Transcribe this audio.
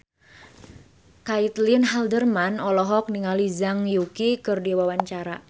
Caitlin Halderman olohok ningali Zhang Yuqi keur diwawancara